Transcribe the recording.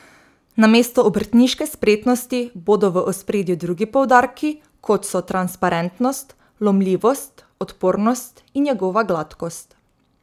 Namesto obrtniške spretnosti bodo v ospredju drugi poudarki, kot so transparentnost, lomljivost, odpornost in njegova gladkost.